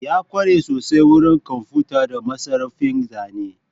Ya kware sosai wurin kwamfuta da masarrafin zane